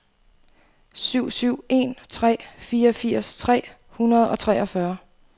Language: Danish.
syv syv en tre fireogfirs tre hundrede og treogfyrre